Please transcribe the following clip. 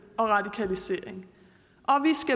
og radikalisering